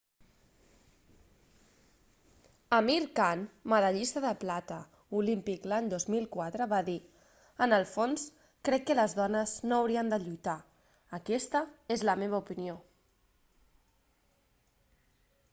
amir khan medallista de plata olímpic l'any 2004 va dir en el fons crec que les dones no haurien de lluitar aquesta és la meva opinió